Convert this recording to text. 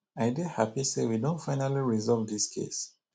i dey happy say we don finally resolve dis case